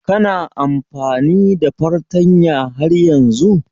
Kana amfani da fartanya har yanzun?